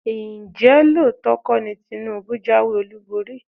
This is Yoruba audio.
Ǹjẹ́ lóòótọ́ kọ́ ni Tinubu jáwé olúborí?